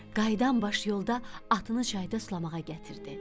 Qayıdan baş yolda atını çayda sulamağa gətirdi.